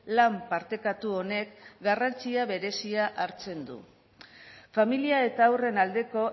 lan partekatu honek garrantzia berezia hartzen du familia eta haurren aldeko